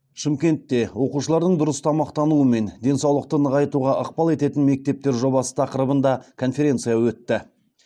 шымкентте оқушылардың дұрыс тамақтануы мен денсаулықты нығайтуға ықпал ететін мектептер жобасы тақырыбында конференция өтті